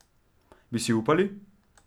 Bi si upali?